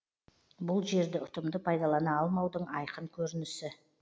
бұл жерді ұтымды пайдалана алмаудың айқын көрінісі